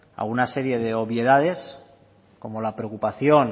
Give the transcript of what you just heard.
alguna serie de obviedades como la preocupación